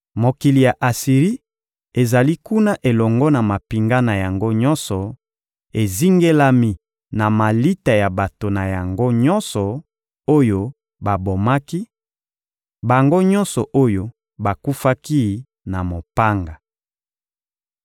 Mokili ya Asiri ezali kuna elongo na mampinga na yango nyonso, ezingelami na malita ya bato na yango nyonso oyo babomaki: bango nyonso oyo bakufaki na mopanga.